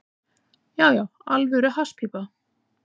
Já, já, alvöru hasspípa.